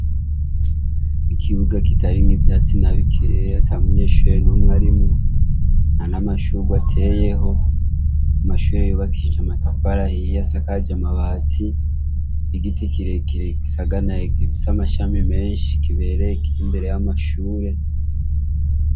Ikibuga kitarimwo ivyatsi nabikeya atamunyeshure numwe arimwo ntanamashurwe ateyeho amashure yubakishije amatafari ahiye asakaje amabati igiti kirekire gisaganaye gifise amashami menshi kibereye kirimbere yamashure